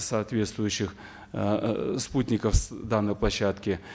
соответствующих эээ спутников с данной площадки